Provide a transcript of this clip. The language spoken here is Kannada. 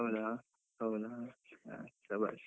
ಹೌದಾ ಹೌದಾ, ಹ್ಮ್ ಶಭಾಷ್.